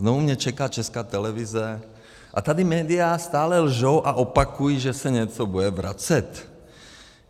Znovu mě čeká Česká televize, a tady média stále lžou a opakují, že se něco bude vracet.